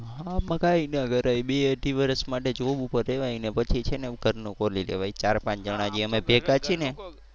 હા કઈ નહીં કરાય બે અઢી વર્ષ માટે Job ઉપર રેવાય ને પછી છે ને ઘરનું ખોલી લેવાય ચાર પાંચ જણાં જે અમે ભેગા છી ને